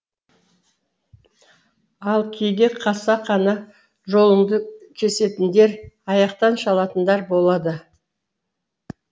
ал кейде қасақана жолыңды кесетіндер аяқтан шалатындар болады